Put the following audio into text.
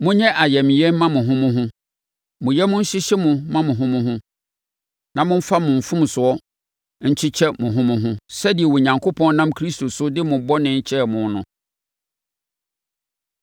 Monyɛ ayamyɛ mma mo ho mo ho. Mo yam nhyehye mo mma mo ho mo ho, na momfa mo mfomsoɔ nkyekyɛkyekyɛ mo ho mo ho sɛdeɛ Onyankopɔn nam Kristo so de mo bɔne kyɛɛ mo no.